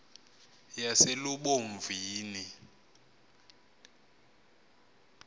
yaselubomvini